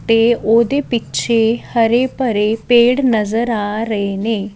ਤੇ ਉਹਦੇ ਪਿੱਛੇ ਹਰੇ ਭਰੇ ਪੇੜ ਨਜ਼ਰ ਆ ਰਹੇ ਨੇ --